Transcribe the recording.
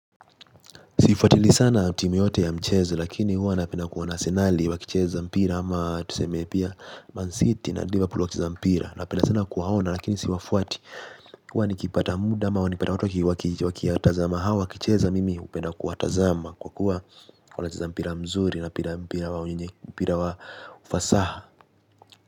Sifuatilii sana timu yote ya mchezo lakini huwa napenda kuona Asenali wakicheza mpira ama tuseme pia Man city na Liverpool wakicheza mpira napenda sana kuwaona lakini siwafuati huwa nikipata muda ama nikipata watu wakitazama hao wakicheza mimi upenda kuwatazama kwa kuwa wanacheza mpira mzuri na mpira mpira wa wenye mpira wa ufasaha.